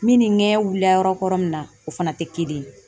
ŋMin ni ŋɛɲɛ wulila yɔrɔ kɔrɔ min na, o fana tɛ kelen ye.